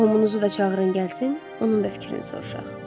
Qohumunuzu da çağırıb gəlsin, onun da fikrini soruşaq.